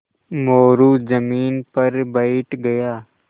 मोरू ज़मीन पर बैठ गया